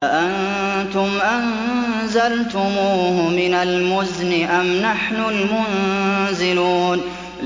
أَأَنتُمْ أَنزَلْتُمُوهُ مِنَ الْمُزْنِ أَمْ نَحْنُ الْمُنزِلُونَ